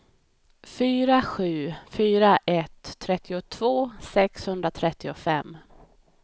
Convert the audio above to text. fyra sju fyra ett trettiotvå sexhundratrettiofem